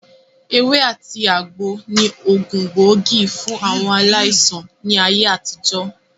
Ewé àti àgbo ni ògùn gbóògì fún àwọn aláìsàn ní ayé àtijọ́